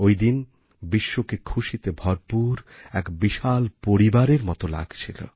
ওই দিন বিশ্বকে খুশিতে ভরপুর এক বিশাল পরিবারের মতো লাগছিল